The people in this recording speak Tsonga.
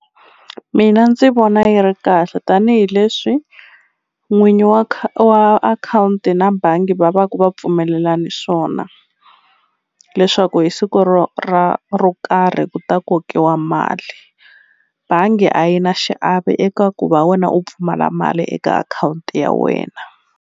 Mina ndzi vona yi ri kahle tanihileswi n'winyi wa wa akhawunti na bangi va va ku va pfumelelane swona leswaku hi siku ro ra ro karhi ku ta kokiwa mali bangi a yi na xiave eka ku va wena u pfumala mali eka akhawunti ya wena.